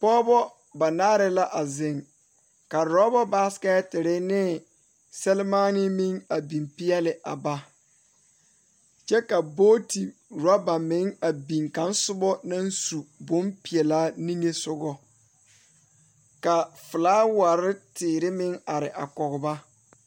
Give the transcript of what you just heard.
Pɔgeba banaare la a zeŋ ka orɔba basekɛtere ne sɛmaanee meŋ a biŋ peɛle a ba kyɛ ka booti orɔba meŋ a biŋ ka kaŋ soba naŋ su bompeɛlaa niŋesogɔ ka filawari teere meŋ are a kɔge ba.